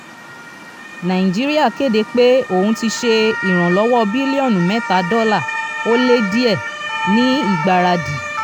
nàìjíríà kéde pé òun ti ṣe ìrànlọ́wọ́ bílíọ̀nù mẹ́ta dọ́là ó lé díẹ̀ ní ìgbáradì.